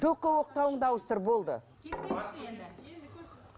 только оқтауыңды ауыстыр болды